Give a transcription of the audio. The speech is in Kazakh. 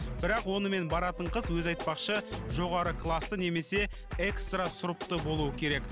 бірақ онымен баратын қыз өзі айтпақшы жоғары класты немесе экстра сұрыпты болуы керек